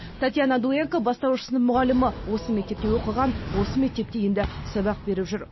татьяна дуенко бастауыш сынып мұғалімі осы мектепте оқыған осы мектепте енді сабақ беріп жүр